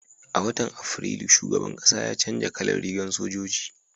a watan afrilu shugaban ƙasa ya canja kalan rigar sojoji